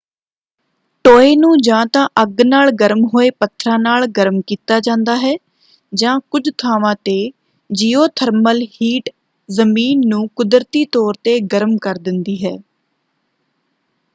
ਟੋਏ ਨੂੰ ਜਾਂ ਤਾਂ ਅੱਗ ਨਾਲ ਗਰਮ ਹੋਏ ਪੱਥਰਾਂ ਨਾਲ ਗਰਮ ਕੀਤਾ ਜਾਂਦਾ ਹੈ ਜਾਂ ਕੁੱਝ ਥਾਵਾਂ ‘ਤੇ ਜੀਓਥਰਮਲ ਹੀਟ ਜ਼ਮੀਨ ਨੂੰ ਕੁਦਰਤੀ ਤੌਰ ‘ਤੇ ਗਰਮ ਕਰ ਦਿੰਦੀ ਹੈ।